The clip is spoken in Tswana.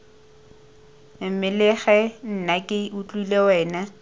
mmelege nna ke utlwile wena